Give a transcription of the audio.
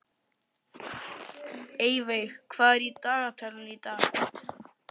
Eyveig, hvað er á dagatalinu í dag?